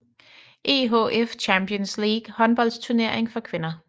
EHF Champions League håndboldturnering for kvinder